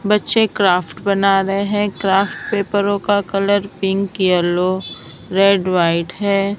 बच्चे क्राफ्ट बना रहे हैं क्राफ्ट पेपरों का colour pink yellow red white है।